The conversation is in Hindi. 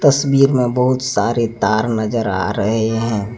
तस्वीर मे बहुत सारे तार नजर आ रहे हैं।